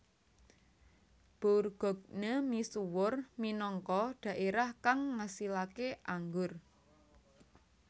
Bourgogne misuwur minangka dhaerah kang ngasilaké anggur